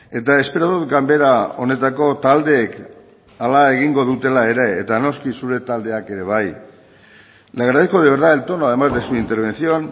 eta espero dut ganbera honetako taldeek hala egingo dutela ere eta noski zure taldeak ere bai le agradezco de verdad el tono además de su intervención